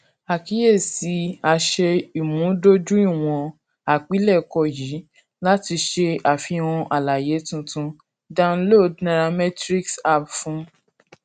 akiyesi a ṣe imudojuiwọn àpilẹkọ yii lati ṣe afihan alaye tuntun download nairametrics app fun